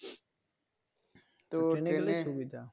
Train গেলেই সুবিধা তো Train এ